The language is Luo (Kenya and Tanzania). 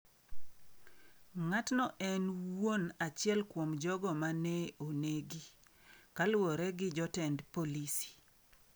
Ng’atno en wuon achiel kuom jogo ma ne onegi, kaluwore gi jotend polisi.